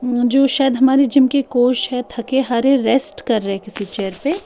वो जो शायद हमारे जिम के कोच हैं थके हारे रेस्ट कर रहे हैं किसी चेयर पे।